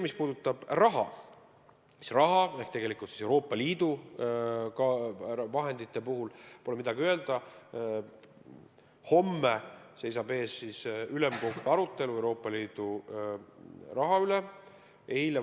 Mis puudutab raha, Euroopa Liidu vahendeid, siis pole midagi öelda, homme seisab ees ülemkogu arutelu Euroopa Liidu raha kasutamise üle.